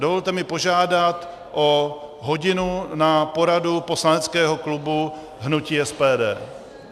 Dovolte mi požádat o hodinu na poradu poslaneckého klubu hnutí SPD.